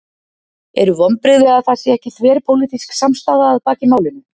Eru vonbrigði að það sé ekki þverpólitísk samstaða að baki málinu?